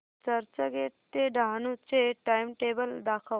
चर्चगेट ते डहाणू चे टाइमटेबल दाखव